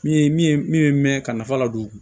Min ye min ye min bɛ mɛn ka nafa la don